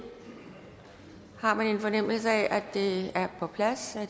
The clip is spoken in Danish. har man en fornemmelse af at det er på plads